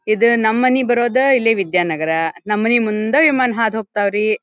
ಇದು ನಮ್ಮನೆಗೆ ಬರೋದು ಇಲ್ಲಿ ವಿದ್ಯಾನಗರ ನಮ್ಮನಿ ಮುಂದೆ ವಿಮಾನ ಹಾದು ಹೋಗ್ತಾವ್ರಿ.